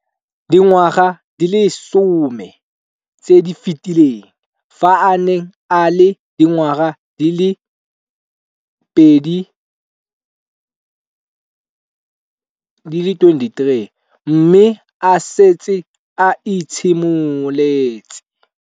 Dingwaga di le 10 tse di fetileng, fa a ne a le dingwaga di le 23 mme a setse a itshimoletse.